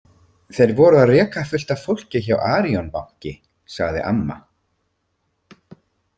Þeir voru að reka fullt af fólki hjá Arion banki, sagði amma.